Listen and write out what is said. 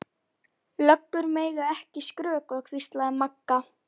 Löggur mega ekki skrökva, hvíslaði Magga.